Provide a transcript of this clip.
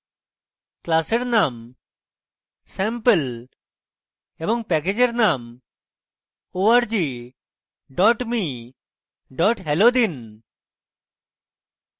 class এর name sample এবং package এর name org me hello দিন